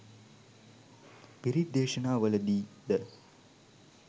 පිරිත් දේශනාවලදී ද